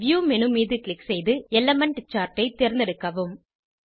view menu மீது click செய்து element chart ஐ தேர்ந்தெடுக்கவும்